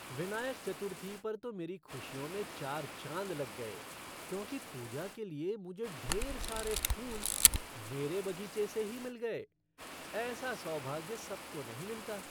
विनायक चतुर्थी पर तो मेरी खुशियों में चार चाँद लग गए क्योंकि पूजा के लिए मुझे ढेर सारे फूल मेरे बगीचे से ही मिल गए। ऐसा सौभाग्य सबको नहीं मिलता।